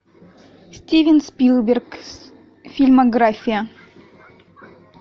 стивен спилберг фильмография